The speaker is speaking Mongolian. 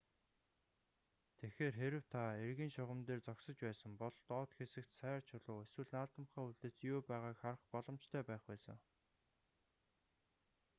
тэгэхээр хэрэв та эргийн шугам дээр зогсож байсан бол доод хэсэгт сайр чулуу эсвэл наалдамхай үлдэц юу байгааг харах боломжтой байх байсан